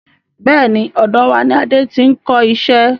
Bẹ́ẹ̀ni, ọ̀dọ̀ wá ní Adé tí n kọ iṣẹ́.